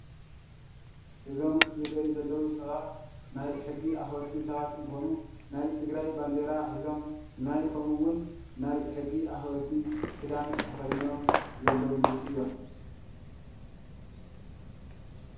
እዞም ዝረእዩ ዘለው ሰባት ናይ ሕጊ አክበርቲ ሰባት እንትኮኑ ናይ ትግራይ ባንዴራ ሒዞም ናይ ከምኡ እውን ናይ ሕጊ አክበርቲ ክዳን ተከዲኖም ዘለውሉ እዩም፡፡